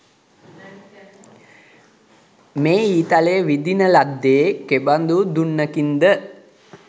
මේ ඊතලය විදින ලද්දේ කෙබඳු දුන්නකින් ද